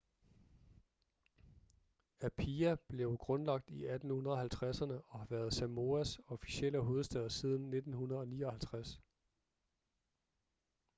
apia blev grundlagt i 1850'erne og har været samoas officielle hovedstad siden 1959